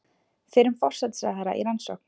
Fyrrum forsætisráðherra í rannsókn